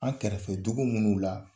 An kɛrɛfɛ dugu minnu la,